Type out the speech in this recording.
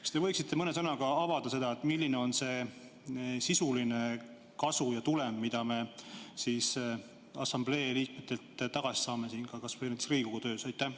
Kas te võiksite mõne sõnaga avada seda, milline on see sisuline kasu ja tulem, mida me assamblee liikmetelt tagasi saame, kas või näiteks siin Riigikogu töös?